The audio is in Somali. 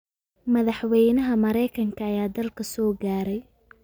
Madaxweynaha Mareykanka ayaa dalka soo gaaray